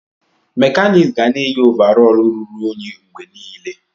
Mekaniks ga na-eyi ovarọl ruru unyi mgbe niile.